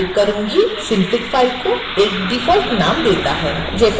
synfig file को एक default नाम देता है जैसा कि आप यहां देख सकते हैं